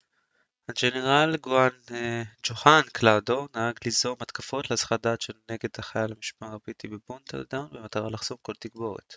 הגנרל ג'והן קדוולדר נהג ליזום התקפות להסחת דעת נגד חיל המשמר הבריטי בבורדנטאון במטרה לחסום כל תגבורת